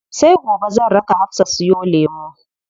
Sai gobe zan raka Hafsa siyo lemu.